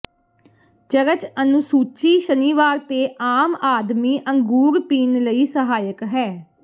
church ਅਨੁਸੂਚੀ ਸ਼ਨੀਵਾਰ ਤੇ ਆਮ ਆਦਮੀ ਅੰਗੂਰ ਪੀਣ ਲਈ ਸਹਾਇਕ ਹੈ